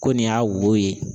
Ko nin y'a wo ye